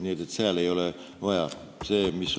Nii et seal ei ole vaja väiksemaid karpe.